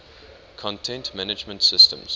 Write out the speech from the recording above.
content management systems